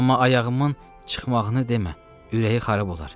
Amma ayağımın çıxmağını demə, ürəyi xarab olar.